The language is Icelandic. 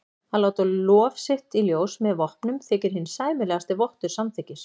Að láta lof sitt í ljós með vopnum þykir hinn sæmilegasti vottur samþykkis.